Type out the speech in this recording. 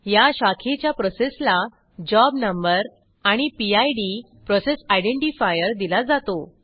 या शाखेच्या प्रोसेसला जॉब नंबर आणि पिड दिला जातो